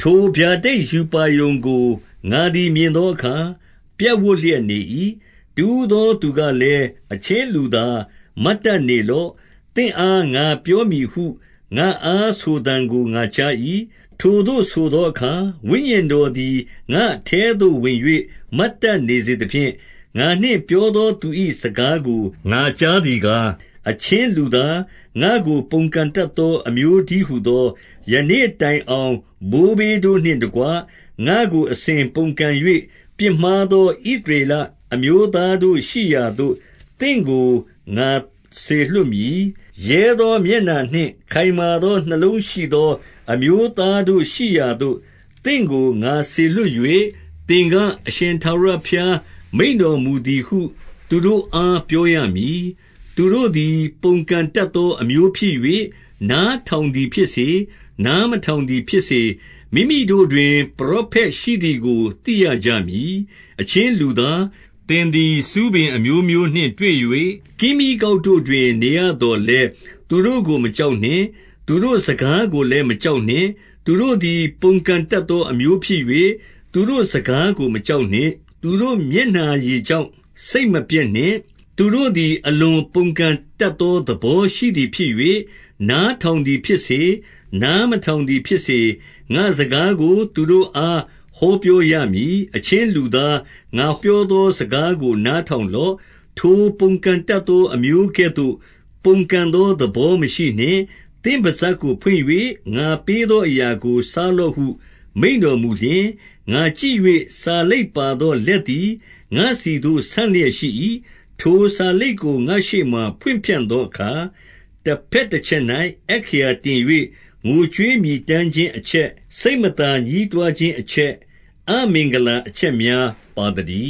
ထိုဗျာဒိတ်ရူပါရုံကို ငါသည် မြင်သောအခါ ပြပ်ဝပ်လျက်နေ၏။ တဦးသောသူကလည်း၊ အချင်း လူသား၊ မတ်တတ်နေလော့။ သင့်အားငါ ပြောမည်ဟု ငါ့အားဆိုသံကိုငါကြား၏။ 2 ထိုသို့ဆိုသောအခါ ဝိညာဉ်တော်သည် ငါ့အထဲ သို့ဝင်၍ မတ်တတ်နေစေသဖြင့်၊ ငါနှင့်ပြောသောသူ၏ စကားကိုငါကြားသည်ကား၊ 3 အချင်းလူသား၊ ငါ့ကိုပုန်ကန်တတ်သော အမျိုး တည်းဟူသော၊ ယနေ့တိုင်အောင် ဘိုးဘေးတို့နှင့်တကွ ငါတို့အစဉ်ပုန်ကန်၍၊ ပြစ်မှားသော ဣသရေလ အမျိုးသားတို့ ရှိရာသို့ သင့်ကို ငါစေလွှတ်မည်။ 4 ရဲသောမျက်နှာနှင့်ခိုင်မာသော နှလုံးရှိသော အမျိုးသားတို့ရှိရာသို့ သင့်ကို ငါစေလွှတ်၍၊ သင်က၊ အရှင်ထာဝရဘုရား မိန့်တော်မူသည်ဟု သူတို့အား ပြောရမည်။ 5 သူတို့သည် ပုန်ကန်တတ်သော အမျိုးဖြစ်၍၊ နား ထောင်သည်ဖြစ်စေ၊ နားမထောင်သည်ဖြစ်စေ၊ မိမိတို့တွင် ပရောဖက်ရှိသည်ကို သိရကြမည်။ 6 အချင်းလူသား၊ သင်သည် ဆူးပင်အမျိုးမျိုးနှင့် တွေ့၍၊ ကင်းမြီးကောက်တို့တွင် နေရသော်လည်း သူတို့ကိုမကြောက်နှင့်။ သူတို့စကားကိုလည်း မကြောက် နှင့်။ သူတို့သည်ပုန်ကန်တတ်သော အမျိုးဖြစ်၍၊ သူတို့ စကားကိုမကြောက်နှင့်။ သူတို့မျက်နှာရည်ကြောင့် စိတ်မပျက်နှင့်။ 7 သူတို့သည် အလွန်ပုန်ကန်တတ်သော သဘော ရှိသည်ဖြစ်၍၊ နားထောင်သည်ဖြစ်စေ၊ နားမထောင်သည် ဖြစ်စေ၊ ငါ့စကားကိုသူတို့အား ဟောပြောရမည်။ 8 အချင်းလူသား၊ ငါပြောသောစကားကို နား ထောင်လော့။ ထိုပုန်ကန်တတ်သော အမျိုးကဲ့သို့ ပုန်ကန် သော သဘောမရှိနှင့်။ သင့်ပစပ်ကို ဖွင့်၍ ငါပေးသော အရာကိုစားလော့ဟု မိန့်တော်မူလျှင်၊ 9 ငါကြည့်၍ စာလိပ်ပါသောလက်သည် ငါ့ဆီသို့ ဆန့်လျက်ရှိ၏။ 10 ထိုစာလိပ်ကို ငါ့ရှေ့မှာ ဖွင့်ဖြန့်သောအခါ၊ တဘက်တချက်၌ အက္ခရာတင်၍ ငိုကြွေးမြည်တမ်းခြင်း အချက်၊ စိတ်မသာညည်းတွားခြင်းအချက်၊ အမင်္ဂလာ အချက်များပါသတည